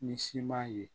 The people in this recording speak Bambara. Ni siman ye